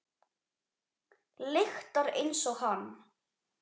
Lyktar einsog hann.